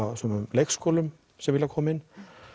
á sumum leikskólum sem vilja koma inn